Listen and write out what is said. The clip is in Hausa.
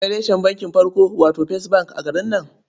Akwai reshen bankin farko, wato first bank a garin nan.